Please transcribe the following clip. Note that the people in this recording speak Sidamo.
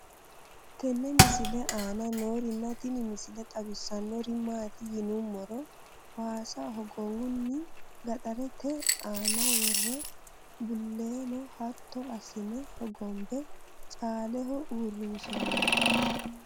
tenne misile aana noorina tini misile xawissannori maati yinummoro waassa hogowunni gaxareette aanna woree buleenno hatto asinne hogonbe caaleho uurinsoonni